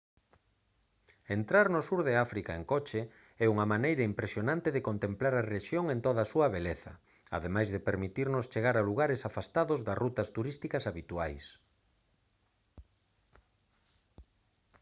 entrar no sur de áfrica en coche é unha maneira impresionante de contemplar a rexión en toda a súa beleza ademais de permitirnos chegar a lugares afastados das rutas turísticas habituais